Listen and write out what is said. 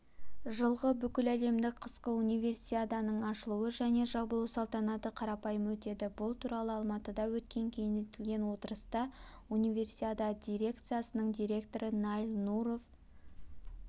жылғы бүкіләлемдік қысқы универсиаданың ашылу және жабылу салтанаты қарапайым өтеді бұл туралы алматыда өткен кеңейтілген отырыста универсиада дирекциясының директоры наиль нуров